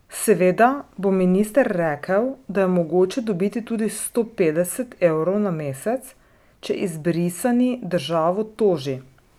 Seveda bo minister rekel, da je mogoče dobiti tudi sto petdeset evrov na mesec, če izbrisani državo toži.